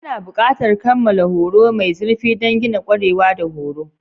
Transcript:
Ana buƙatar kammala horo mai zurfi don gina ƙwarewa da horo.